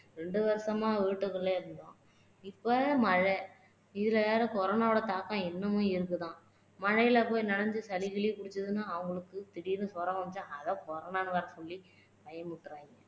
ரெண்டு வருஷமா வீட்டுக்குள்ளயே இருந்தோம் இப்போ மழை இதுல வேற corona ஓட தாக்கம் இன்னமும் இருக்குதாம் மழையில நனைஞ்சு சளிகிலி புடிச்சுதுன்னா அவங்களுக்கு திடீர்னு ஜுரம் வந்துச்சுன்னா அதை corona னு வேற சொல்லி பயமுறுத்துறாங்க